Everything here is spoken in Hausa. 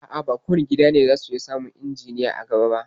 A'a, ba kowane gida ne za su iya samun injiniya a gaba ba